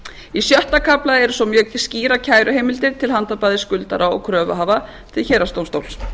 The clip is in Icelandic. í sjötta kafla eru svo skýrar kæruheimildir til handa bæði skuldara og kröfuhafa til héraðsdómstóls